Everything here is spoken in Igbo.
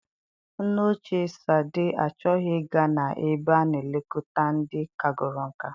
Nne ochie Sade achọghị ị ga na-ebe a na elekọta ndị kagoro nkà.